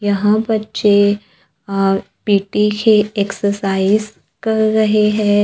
यहां बच्चे पी_टी के एक्सरसाइज कर रहे है।